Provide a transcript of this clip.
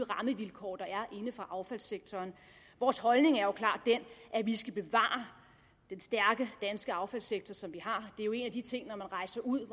rammevilkår der er inden for affaldssektoren vores holdning er jo klart den at vi skal bevare den stærke danske affaldssektor som vi har når man rejser ud